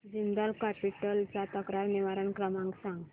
Jindal capital चा तक्रार निवारण क्रमांक सांग